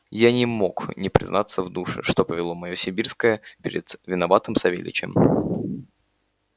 я не мог не признаться в душе что поведение моё сибирское перед виноватым савельичем